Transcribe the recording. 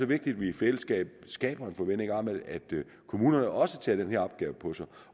vigtigt at vi i fællesskab skaber en forventning om at kommunerne også tager den her opgave på sig